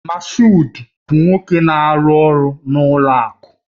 Mashood bụ nwoke na-arụ ọrụ n'ụlọ akụ